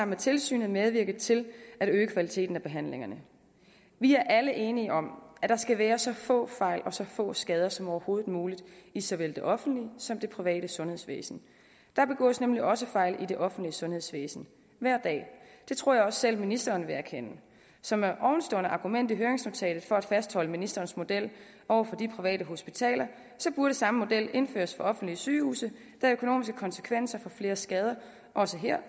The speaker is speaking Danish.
med tilsynet medvirke til at øge kvaliteten af behandlingerne vi er er enige om at der skal være så få fejl og så få skader som overhovedet muligt i såvel det offentlige som det private sundhedsvæsen der begås nemlig også fejl i det offentlige sundhedsvæsen hver dag det tror jeg også at selv ministeren vil erkende så med ovenstående argument i høringsnotatet for at fastholde ministerens model over for de private hospitaler burde samme model indføres på offentlige sygehuse da økonomiske konsekvenser af flere skader også her